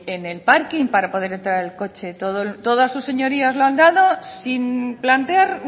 en el parking para poder entrar el coche todas sus señorías la han dado sin plantear